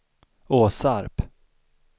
Åsarp